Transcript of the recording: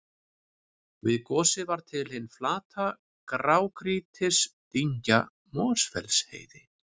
Við gosið varð til hin flata grágrýtisdyngja Mosfellsheiði.